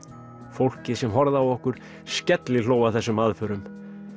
fólkið sem horfði á okkur skellihló að þessum aðförum